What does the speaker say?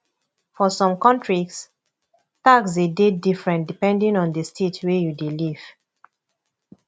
for some countries tax de dey different depending on di state wey you dey live